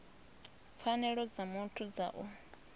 pfanelo dza muthu dza u